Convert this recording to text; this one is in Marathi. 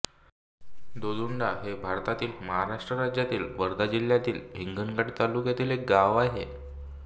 दोंदुडा हे भारतातील महाराष्ट्र राज्यातील वर्धा जिल्ह्यातील हिंगणघाट तालुक्यातील एक गाव आहे